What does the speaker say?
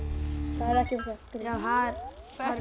það er ekki okkar grein þar